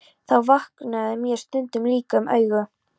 Þá vöknaði mér stundum líka um augu.